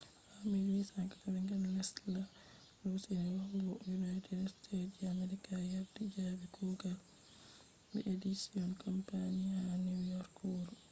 ha 1884 tesla lusini yahugo united states je america yardi jabi kugal be edison company ha new york wuro